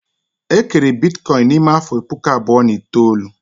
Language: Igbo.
E kere Bitcoin n'ime afọ puku abụọ na itoolu